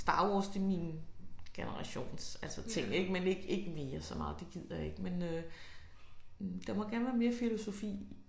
Star Wars det min generations altså ting ik men ikke ikke mere så meget det gider jeg ikke men øh der må gerne være mere filosofi